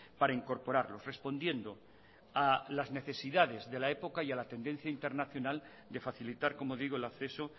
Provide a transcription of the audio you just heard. para incorporarlos respondiendo a las necesidades de la época y a la tendencia internacional de facilitar como digo el acceso